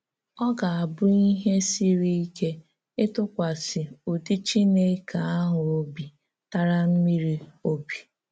Ọ gà-abụ̀ íhè sịrị íké ítụ̀kwàsị ụ́dị̀ Chìnékè àhụ̀ òbì tàrà mmírí òbì.